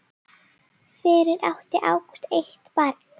Fyrir átti Ágúst eitt barn.